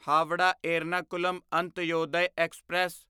Howrah Ernakulam Antyodaya express